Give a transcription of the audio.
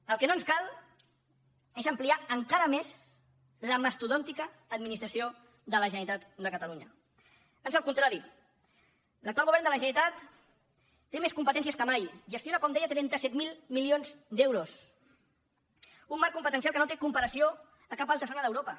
el que no ens cal és ampliar encara més la mastodòntica administració de la generalitat de catalunya ans al contrari l’actual govern de la generalitat té més competències que mai gestiona com deia trenta set mil milions d’euros un marc competencial que no té comparació a cap altra zona d’europa